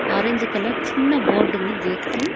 Orange colour చిన్న బోర్డుంది గేటుకి .